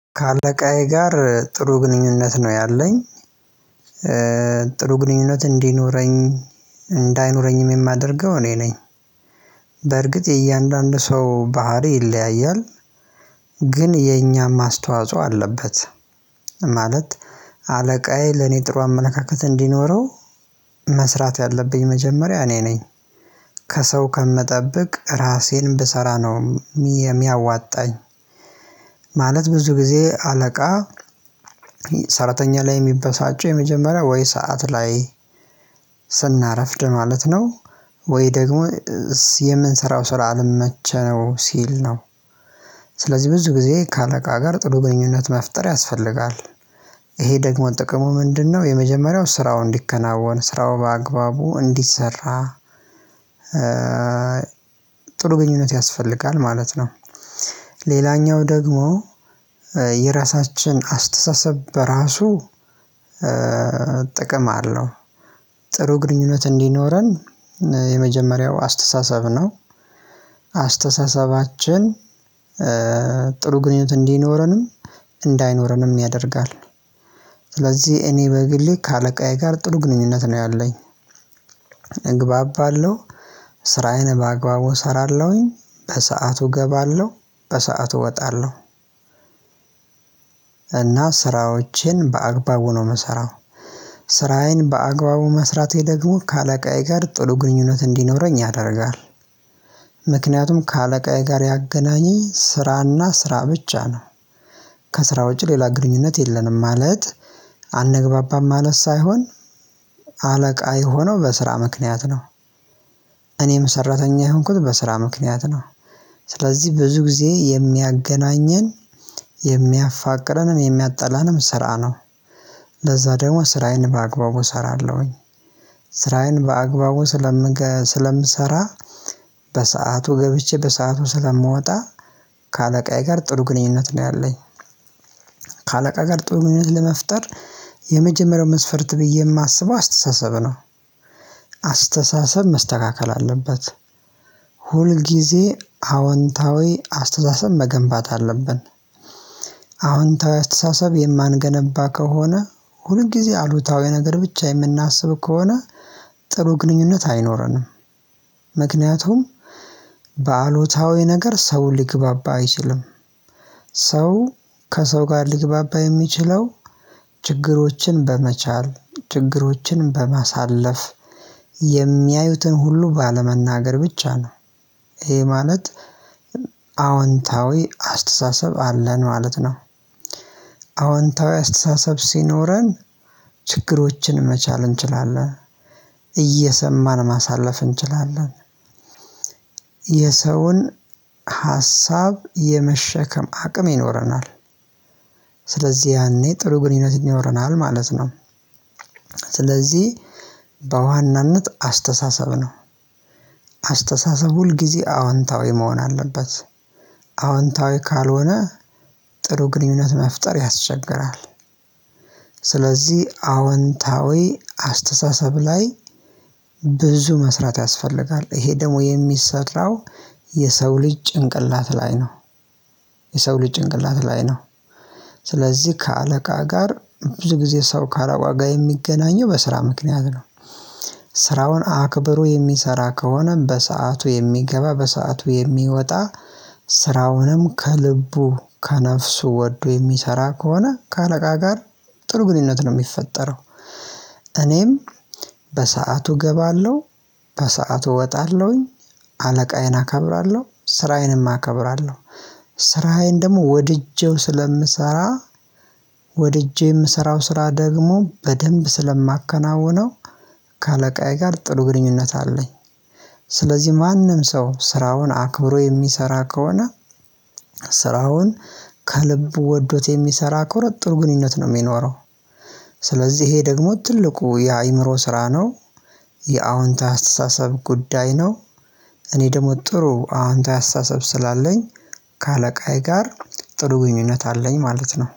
ከአለቃዬ ጋር ጥሩ ግንኙነት ነው ያለኝ። ጥሩ ግንኙነት እንዲኖረኝ እንዳይኖረኝም የማደርገው እኔ ነኝ በርግጥ የእያንዳንዱ ሰው ባህሪ ይለያያል። ግን የኛም ማስተዋጽኦ አለበት ማለት አለቃዬ ለኔ ጥሩ አመነካክተን እንዲኖረው መስራት ያለብኝ መጀመሪያ እኔ ነኝ። ከሰው ከምጠብቅ ራሴን ብሰራ ነው የሚያዋጣኝ ማለት ብዙ ጊዜ አለቃ ሰራተኛ ላይ የሚበሳጩ የመጀመሪያ ወይ ሰዓት ላይ ስናረፍድ ማለት ነው። ወይ ደግሞ የምንሰራው ስራ አልመቸው ሲል ነው ስለዚህ ብዙ ጊዜ ከአለቃ ጋር ጥሩ ግንኙነት መፍጠር ያስፈልጋል። ይሄ ደግሞ ጥቅሙ ምንድነው የመጀመሪያው ስራው እንዲከናወን ስራው በአግባቡ እንዲሰራ ጥሩ ግንኙነት ያስፈልጋል ማለት ነው። ሌላኛው ደግሞ የራሳችን አስተሳሰብ በራሱ ጥቅም አለው። ጥሩ ግንኙነት እንዲኖረን የመጀመሪያው አስተሳሰብ ነው። አስተሳሰባችን ጥሩ ግንኙነት እንዲኖረንም እንዳይኖረንም ያደርጋል። ስለዚህ እኔ በግሌ ከአለቃዬ ጋር ጥሩ ግንኙነት ነው ያለኝ እግባባለው፣ ስራዬን በአግባቡ እሰራለሁኝ፣ በሰአቱ እገባለሁ፣ በሰአቱ እወጣለሁ። እና ስራዎችን በአግባቡ ነው ምሰራው። ስራዬን በአግባቡ መስራቴ ደግሞ ከአለቃዬ ጋር ጥሩ ግንኙነት እንዲኖረኝ ያደርጋል። ምክንያቱም ከአለቃዬ ጋር ያገናኘኝ ስራና ስራ ብቻ ነው። ከስራ ውጪ ሌላ ግንኙነት የለንም። ማለት አንግባባም ማለት ሳይሆን አለቃ የሆነው በስራ ምክንያት ነው። እኔም ሰራተኛ የሆንኩት በስራ ምክንያት ነው። ስለዚህ ብዙ ጊዜ የሚያገናኘን የሚያፋቅረንም የሚያጣላንም ስራ ነው። ለዛ ደግሞ ስራዬን በአግባቡ እሰራለሁኝ። ስራዬን በአግባቡ ስለምገ ስለምሰራ በሰአቱ ገብቼ በሰአቱ ስለምወጣ ከአለቃዬ ጋር ጥሩ ግንኙነት ነው ያለኝ። ከአለቃ ጋር ጥሩ ግንኙነት ለመፍጠር የመጀመሪያው መስፈርት ብዬ የማስበው አስተሳሰብ ነው። አስተሳሰብ መስተካከል አለበት። ሁል ጊዜ አዎንታዊ አስተሳሰብ መገንባት አለብን አዎንታዊ አስተሳሰብ የማንገነባ ከሆነ፣ ሁልጊዜ አሉታዊ ነገር ብቻ የምናስብ ከሆነ፣ ጥሩ ግንኙነት አይኖረንም። ምክንያቱም በአሉታዊ ነገር ሰውን ሊግባባ አይችልም። ሰው ከሰው ጋር ሊግባባ የሚችለው ችግሮችን በመቻል፣ ችግሮችን በማሳለፍ፣ የሚያዩትን ሁሉ ባለመናገር ብቻ ነው ይሄ ማለት አዎንታዊ አስተሳሰብ አለን ማለት ነው። አዎንታዊ አስተሳሰብ ሲኖረን ችግሮችን መቻል እንችላለን፣ እየሰማን ማሳለፍ እንችላለን፣ የሰውን ሀሳብ የመሸከም አቅም ይኖረናል ስለዚህ ያኔ ጥሩ ግንኙነት ይኖረናል ማለት ነው። ስለዚህ በዋናነት አስተሳሰብ ነው አስተሳሰብ ሁል ጊዜ አዎንታዊ መሆን አለበት። አዎንታዊ ካልሆነ ጥሩ ግንኙነት መፍጠር ያስቸግራል። ስለዚህ አወንታዊ አስተሳሰብ ላይ ብዙ መስራት ያስፈልጋል ይሄ ደግሞ የሚሰራው የሰው ልጅ ጭንቅላት ላይ ነው። የሰው ልጅ ጭንቅላት ላይ ነው። ስለዚህ ከአለቃ ጋር ብዙ ጊዜ ሰው ካለቃው ጋር የሚገናኘው በስራ ምክንያት ነው። ስራውን አክብሮ የሚሰራ ከሆነም በሰአቱ የሚገባ በሰአቱ የሚወጣ ስራውንም ከልቡ ከነፍሱ ወዶ የሚሰራ ከሆነ ከአለቃ ጋር ጥሩ ግንኙነት ነው የሚፈጠረው። እኔም በሰአቱ እገባለሁ፣ በሰአቱ እወጣለሁኝ፣ አለቃዬን አከብራለሁ፣ ስራዬንም አከብራለሁ። ስራዬን ደግሞ ወድጄው ስለምሰራ ወድጄ የምሰራው ስራ ደግሞ በደንብ ስለማከናውነው ከአለቃዬ ጋር ጥሩ ግንኙነት አለኝ። ስለዚህ ማንም ሰው ስራውን አክብሮ የሚሰራ ከሆነ ስራውን ከልብ ወዶት የሚሰራ ቆረጥ ግንኙነት ነው የሚኖረው ስለዚህ ይሄ ደግሞ ትልቁ የአእምሮ ስራ ነው፣ የአዎንታዊ አስተሳሰብ ጉዳይ ነው፣ እኔ ደግሞ ጥሩ አዎንታዊ አስተሳሰብ ስላለኝ ከአለቃዬ ጋር ጥሩ ግንኙነት አለኝ ማለት ነው።